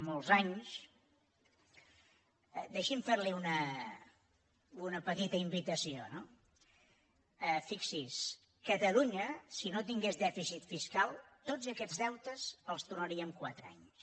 molts anys deixi’m fer li una petita invitació no fixi s’hi catalunya si no tingués dèficit fiscal tots aquests deutes els tornaria en quatre anys